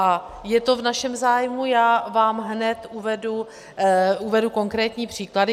A je to v našem zájmu, já vám hned uvedu konkrétní příklady.